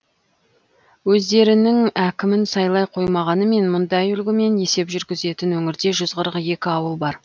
өздерінің әкімін сайлай қоймағанымен мұндай үлгімен есеп жүргізетін өңірде жүз қырық екі ауыл бар